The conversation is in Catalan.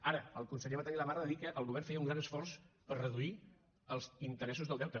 ara el conseller va tenir la barra de dir que el govern feia un gran esforç per reduir els interessos del deute